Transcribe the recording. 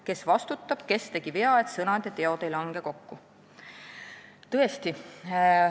Kes vastutab, kes tegi vea, et sõnad ja teod ei lange kokku?